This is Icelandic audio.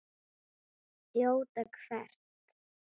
Þjóta hvert?